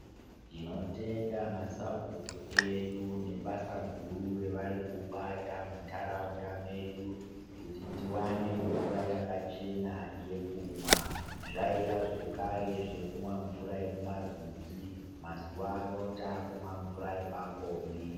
Ndinotenda massabhuku edu nebasa ravari guru kubata mumatuutu edu kuti tiwane mvura yakachena yekumwa .Zvaiva zvekare kumwa mvura yemumarwizi mazuva ano takumwa mvura yepapombi.